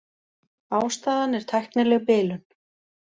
Ástæðan er tæknileg bilun